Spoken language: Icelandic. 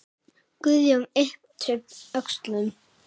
Guðjón yppti öxlum.